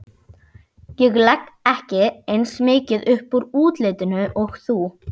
Ég legg ekki eins mikið upp úr útlitinu og þú.